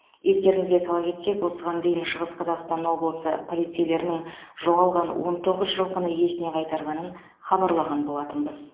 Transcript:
естеріңізге сала кетсек осыған дейін шығыс қазақстан облысы полицейлерінің жоғалған он тоғыз жылқыны иесіне қайтарғанын хабарлаған болатынбыз